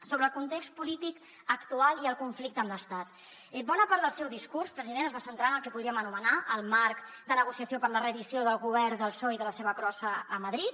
sobre el context polític actual i el conflicte amb l’estat bona part del seu discurs president es va centrar en el que podríem anomenar el marc de negociació per a la reedició del govern del psoe i de la seva crossa a madrid